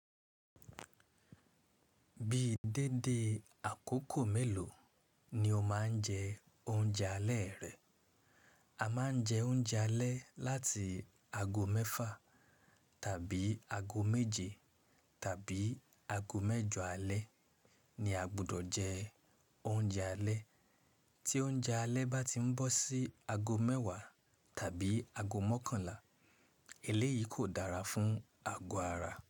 Bí dédé àkókò mélòó ni o máa ń jẹ oúnjẹ alẹ́ rẹ. A máa ń jẹ oúnjẹ alẹ́ láti ago mẹ́fà tàbí ago méje tàbí ago mẹ́jọ alẹ́ ni a gbọdọ̀ jẹ oúnjẹ alẹ́. Tí oúnjẹ alẹ́ bá ti ń bọ́ sí ago mẹ́wàá tàbí ago mọ́kànlá, eléyìí kò dára fún ago ara.